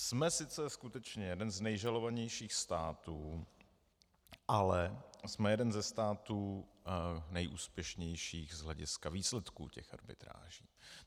Jsme sice skutečně jeden z nejžalovanějších států, ale jsme jeden ze států nejúspěšnějších z hlediska výsledků těch arbitráží.